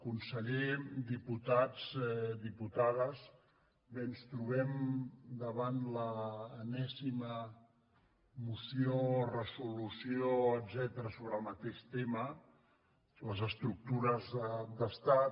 conseller diputats diputades bé ens trobem davant l’enèsima moció resolució etcètera sobre el mateix tema les estructures d’estat